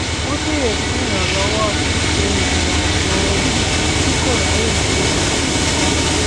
ó béèrè fún ìrànlówọ ṣíṣe ìrìnàjò ẹbí tí kò ráyè ṣe nìkan